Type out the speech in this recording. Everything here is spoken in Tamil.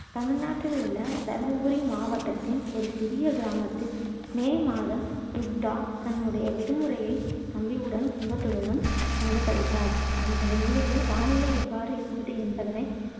தமிழ்நாட்டில் உள்ள தர்மபுரி மாவட்டத்தின் ஒரு சிறிய கிராமத்தில் மே மாதம் துர்கா தன்னுடைய விடுமுறையை தம்பியுடன் குடும்பத்துடனும் கண்டு கழித்தாள் வானிலை எவ்வாறு இருந்தது என்பதனை